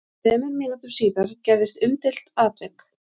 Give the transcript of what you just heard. Þremur mínútum síðar gerðist umdeilt atvik.